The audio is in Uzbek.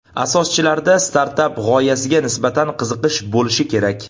Asoschilarda startap g‘oyasiga nisbatan qiziqish bo‘lishi kerak.